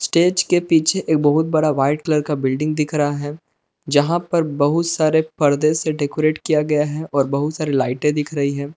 Stage के पीछे एक बहुत बड़ा वाइट कलर का बिल्डिंग दिख रहा है जहाँ पर बहुत सारे परदे से डेकोरेट किया गया है और बहुत सारे लाइटे दिख रही है।